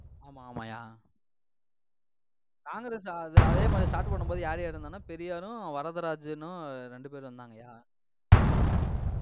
ஆமா, ஆமாய்யா. காங்கிரஸ், அதே அதே மாதிரி start பண்ணும் போது, யார் யார் இருந்தாங்கன்னா பெரியாரும், வரதராஜனும் ரெண்டு பேர் இருந்தாங்கயா